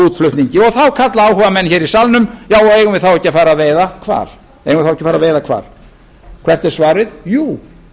útflutningi og þá kalla áhugamenn í salnum eigum við þá ekki að fara að veiða hval hvert er svarið jú